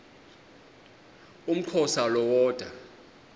umxhosa lo woda